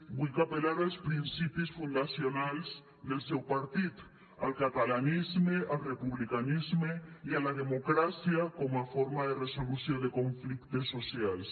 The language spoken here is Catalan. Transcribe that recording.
vull apel·lar als principis fundacionals del seu partit al catalanisme al republicanisme i a la democràcia com a forma de resolució de conflictes socials